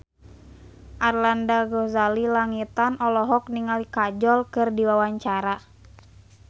Arlanda Ghazali Langitan olohok ningali Kajol keur diwawancara